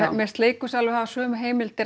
finnst leikhúsið alveg hafa sömu heimildir